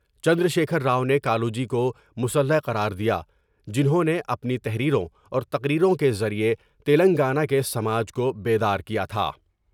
چندرشیکھر راؤ نے کا لوجی کو مسّلح قرار دیا جنھوں نے اپنی تحریروں اور تقریروں کے ذریعے تلنگانہ کے سماج کو بیدار کیا تھا ۔